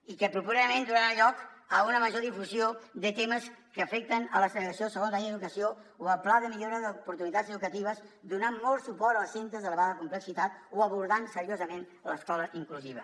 i que properament donarà lloc a una major difusió de temes que afecten la segregació segons la llei d’educació o el pla de millora d’oportunitats educatives donar molt suport als centres d’elevada complexitat o abordant seriosament l’escola inclusiva